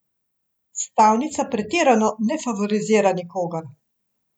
Stavnica pretirano ne favorizira nikogar.